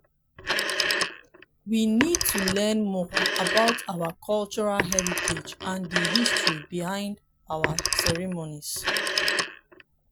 we need to learn more about our cultural heritage and di history behind our ceremonies.